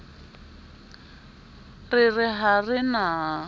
re re ha re na